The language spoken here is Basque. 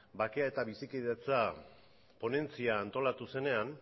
bakea eta bizikidetza ponentzia antolatu zenean